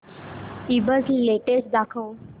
ईबझ लेटेस्ट दाखव